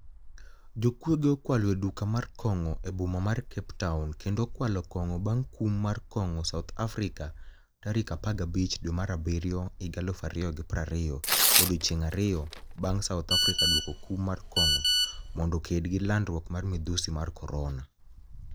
Jokuoge okwalo e duka moro mar konig'o e boma mar Cape towni kenido okwalo konig'o banig' kum mar konig'o South Africa tari 15 dwe mar abiryo 2020 odiechienige ariyo banig' South Africa dwoko kum mar konig'o monido oked gi lanidruok mar midhusi ma koronia .